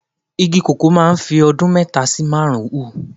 Igi koko máa ń fi ọdún mẹ́ta sí mẹ́rin hù.